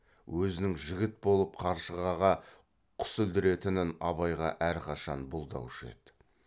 өзінің жігіт болып қаршығаға құс ілдіретінін абайға әрқашан бұлдаушы еді